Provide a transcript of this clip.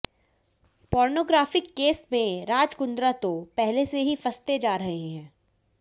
pornography case में राज कुंद्रा तो पहले से ही फंसते जा रहे हैं